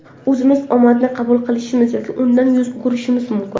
O‘zimiz omadni qabul qilishimiz, yoki undan yuz o‘girishimiz mumkin.